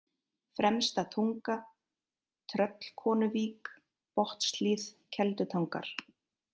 Fremsta-Tunga, Tröllkonuvík, Botnshlíð, Keldutangar